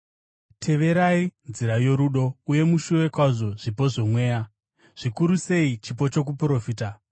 Teverai nzira yorudo uye mushuve kwazvo zvipo zvomweya, zvikuru sei chipo chokuprofita.